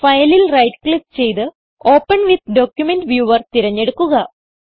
ഫയലിൽ right click ചെയ്ത് open with document viewer തിരഞ്ഞെടുക്കുക